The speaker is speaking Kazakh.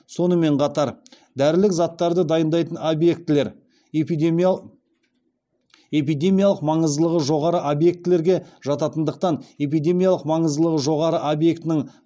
сонымен қатар дәрілік заттарды дайындайтын объектілер эпидемиялық маңыздылығы жоғары объектілерге жататындықтан эпидемиялық маңыздылығы жоғары объектінің